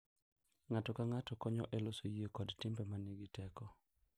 Ng’ato ka ng’ato konyo e loso yie kod timbe ma nigi teko.